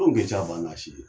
Anw ka ca ba n'a si ye